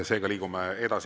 Seega liigume edasi.